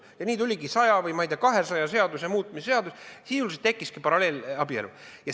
Ja nii tuligi saja või kahesaja seaduse muutmise seadus ning sisuliselt tekkiski paralleelabielu.